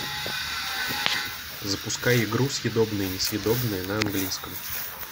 запускай игру съедобное несъедобное на английском